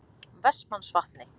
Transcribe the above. Vestmannsvatni